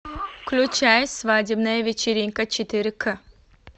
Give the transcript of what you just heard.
включай свадебная вечеринка четыре к